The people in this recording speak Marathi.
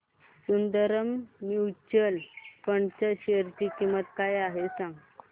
सुंदरम म्यूचुअल फंड च्या शेअर ची किंमत काय आहे सांगा